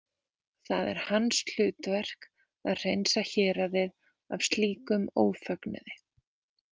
Það er hans hlutverk að hreinsa héraðið af slíkum ófögnuði.